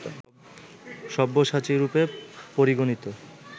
সব্যসাচিরূপে পরিগণিত